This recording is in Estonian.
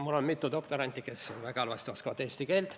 Mul on mitu doktoranti, kes väga halvasti oskavad eesti keelt.